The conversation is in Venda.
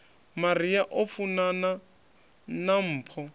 maria o funana na mpho